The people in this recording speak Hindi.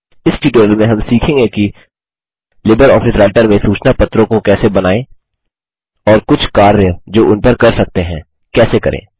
इस ट्यूटोरियल में हम सीखेंगे कि लिबर ऑफिस राइटर में सूचना पत्रों को कैसे बनाएँ और कुछ कार्य जो उन पर कर सकते हैं कैसे करें